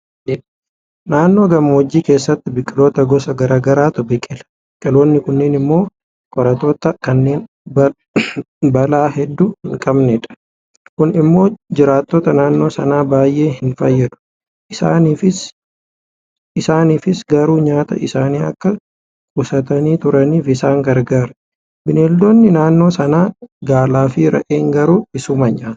Naannoo gammoojjii keessatti biqiloota gosa garaa garaatu biqila. Biqiloonni kunneen immoo qoraatta'oo kanneen baala hedduu hinqabnedha. Kun immoo jiraattota naannoo sanaa baay'ee hinfayyadu. Isaaniif garuu nyaata isaanii akka qusatanii turaniif isaan gargaara. Beelladoonni naannoo sanaa Gaalaafi Re'een garuu isuma nyaatu.